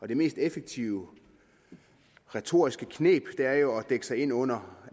det mest effektive retoriske kneb er jo at dække sig ind under